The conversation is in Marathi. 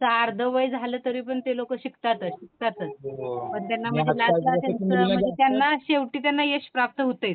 त्यांचं अर्ध वय झालं तरी पण ते लोक शिकतातच, शिकतातच पण त्यांना म्हणजे लास्टला त्यांचं, त्यांना शेवटी त्यांना यश प्राप्त होतेच.